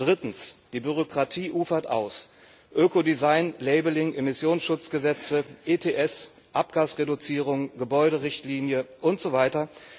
Drittens Die Bürokratie ufert aus, Ökodesign Labeling, Immissionsschutzgesetze, ETS, Abgasreduzierung, Gebäuderichtlinie und so weiter.